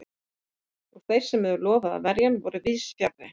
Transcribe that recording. Og þeir sem höfðu lofað að verja hann voru víðsfjarri.